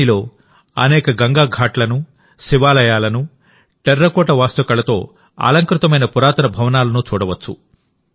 త్రిబేనిలోఅనేక గంగా ఘాట్లను శివాలయాలను టెర్రకోట వాస్తు కళతో అలంకృతమైన పురాతన భవనాలను చూడవచ్చు